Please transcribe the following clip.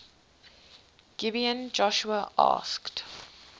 gibeon joshua asked